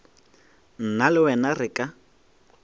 nna le wena re ka